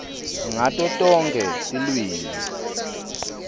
ngato tonkhe tilwimi